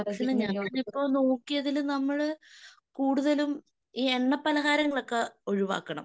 ഞാനിപ്പോ നോക്കിയതിൽ നമ്മള് കൂടുതലും ഈ എണ്ണപലഹാരങ്ങളൊക്കെ ഒഴിവാക്കണം.